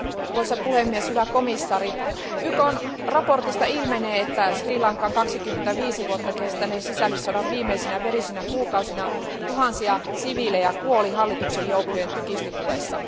Arvoisa puhemies, hyvä komissaari, YKn raportista ilmenee, että Sri Lankan 25 vuotta kestäneen sisällissodan viimeisinä verisinä kuukausina tuhansia siviilejä kuoli hallituksen joukkojen tykistötulessa.